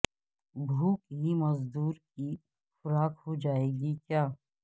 بھوک ہی مزدور کی خوراک ہو جائے گی کیا